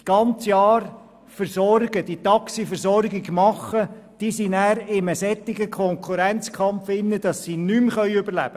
Diejenigen aber, die sonst immer die Taxiversorgung gewährleisten, können dann in einem solchen Konkurrenzkampf nicht mehr überleben.